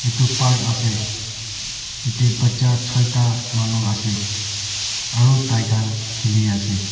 etu park ase yete bacha joita manu ase aro tai kan kili ase.